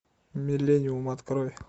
миллениум открой